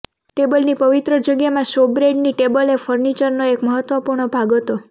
ટેબલની પવિત્ર જગ્યામાં શોબ્રેડની ટેબલ એ ફર્નિચરનો એક મહત્વપૂર્ણ ભાગ હતો